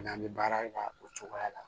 N'an bɛ baara in kɛ o cogoya la